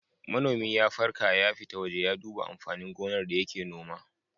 Manomi ya farka ya fita waje ya duba amfanin gonar da yake noma.